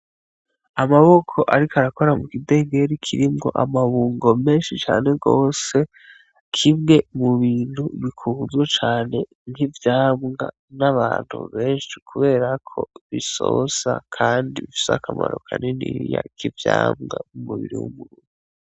Amaboko Ariko Arakora Mukidengeri Kirimwo Amabungo Menshi Cane Gose, Kimwe Mu Bintu Bikunzwe Cane Nk'Ivyamwa, N'Abantu Benshi Kubera Ko Bisosa Kandi Bifise Akamaro Kaniniya Nk'Ivyamwa Mu Mubiri W'Umuntu.